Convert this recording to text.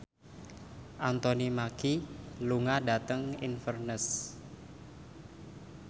Anthony Mackie lunga dhateng Inverness